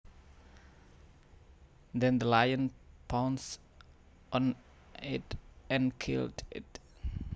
Then the lion pounced on it and killed it